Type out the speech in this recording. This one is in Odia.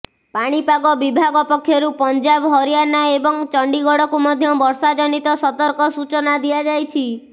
ପାଣିପାଗ ବିଭାଗ ପକ୍ଷରୁ ପଂଜାବ ହରିୟାଣା ଏବଂ ଚଣ୍ଡିଗଡ଼କୁ ମଧ୍ୟ ବର୍ଷା ଜନିତ ସତର୍କ ସୂଚନା ଦିଆଯାଇଛି